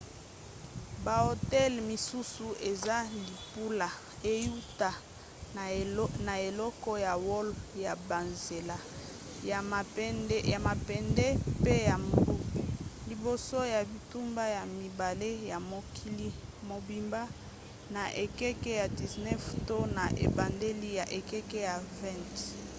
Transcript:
bahotel misusu eza libula euta na eleko ya wolo ya banzela ya mabende mpe ya mbu; liboso ya bitumba ya mibale ya mokili mobimba na ekeke ya 19 to na ebandeli ya ekeke ya 20